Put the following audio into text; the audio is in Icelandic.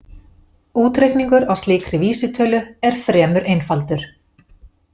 Útreikningur á slíkri vísitölu eru fremur einfaldur.